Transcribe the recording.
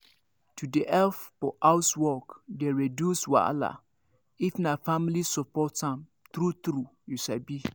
to dey help for housework dey reduce wahala if na family support am true true you sabi